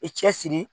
I cɛsiri